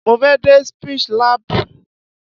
Mo fẹ́ dé Speech lab.